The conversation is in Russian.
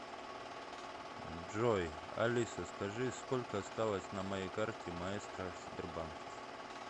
джой алиса скажи сколько осталось на моей карте маэстро сбербанка